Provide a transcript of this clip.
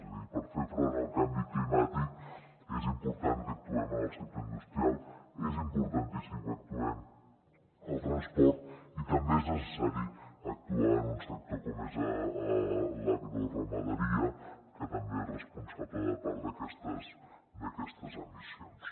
és a dir per fer front al canvi climàtic és important que actuem en el sector industrial és importantíssim que actuem en el transport i també és necessari actuar en un sector com és l’agroramaderia que també és responsable de part d’aquestes emissions